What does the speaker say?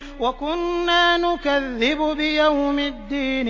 وَكُنَّا نُكَذِّبُ بِيَوْمِ الدِّينِ